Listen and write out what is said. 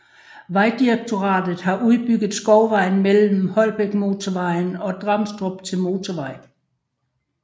Vejdirektoratet har udbygget Skovvejen mellem Holbækmotorvejen og Dramstrup til motorvej